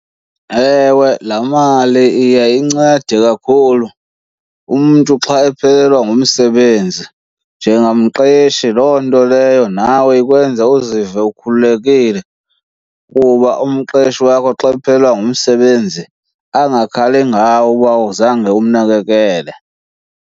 Ewe, laa mali iye incede kakhulu umntu xa ephelelwa ngumsebenzi. Njengamqeshi loo nto leyo nawe ikwenza uzive ukhululekile kuba umqeshi wakho xa ephelelwe ngumsebenzi angakhali ngawe uba zange umnakekele.